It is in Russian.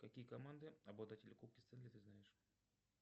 какие команды обладатели кубка стэнли ты знаешь